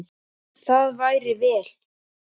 Það væri vel.